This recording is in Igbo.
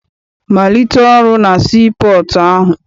Malite ọrụ na sii pọọtụ ahụ!